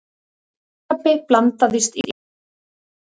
Kolkrabbi blandast í kosningar